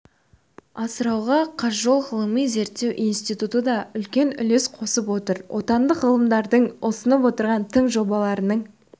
асыруға қазжол ғылыми-зерттеу институты да үлкен үлес қосып отыр отандық ғалымдардың ұсынып отырған тың жобаларының